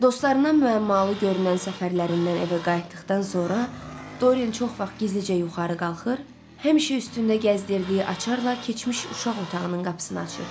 Dostlarından müəmmalı görünən səfərlərindən evə qayıtdıqdan sonra, Dorian çox vaxt gizlicə yuxarı qalxır, həmişə üstündə gəzdirdiyi açarla keçmiş uşaq otağının qapısını açırdı.